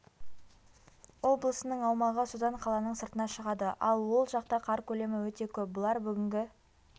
облысының аумағы содан қаланың сыртына шығады ал ол жақта қар көлемі өте көп бұлар бүгінгі